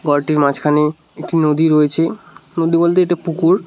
বাড়িটির মাঝখানে একটি নদী রয়েছে নদী বলতে এটা পুকুর।